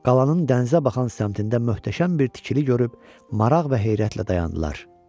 Qalanın dənizə baxan səmtində möhtəşəm bir tikili görüb maraq və heyrətlə dayandılar.